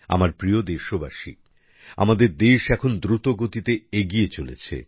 আমার প্রিয় দেশবাসী আমাদের দেশ এখন দ্রুত গতিতে এগিয়ে চলেছে